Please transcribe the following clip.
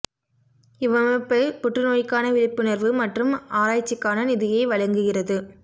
இவ்வமைப்பு புற்று நோய்க்கான விழிப்புணர்வு மற்றும் ஆராய்ச்சிக்கான நிதியை வழங்குகிறது